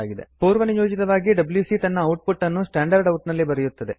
ಪೂರ್ವನಿಯೋಜಿತವಾಗಿ ಡಬ್ಯೂಸಿ ತನ್ನ output ಅನ್ನು ಸ್ಟ್ಯಾಂಡರ್ಡ್ ಔಟ್ ನಲ್ಲಿ ಬರೆಯುತ್ತದೆ